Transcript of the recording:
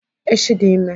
Echi dị ime.